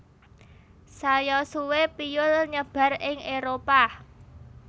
Saya suwe piyul nyebar ing Éropah